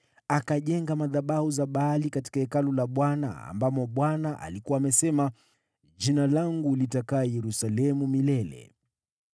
Akajenga madhabahu katika Hekalu la Bwana ambamo Bwana alikuwa amesema, “Jina langu litadumu Yerusalemu milele.”